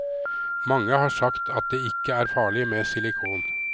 Mange har sagt at det ikke er farlig med silikon.